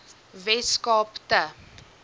wes kaap te